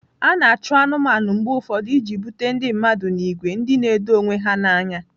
A na-achụ anụmanụ mgbe ụfọdụ iji bute ndị mmadụ n'ìgwè ndị na-edo onwe ha n'anya.